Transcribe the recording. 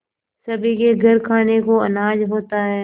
सभी के घर खाने को अनाज होता है